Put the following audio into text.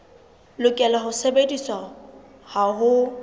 lokela ho sebediswa ha ho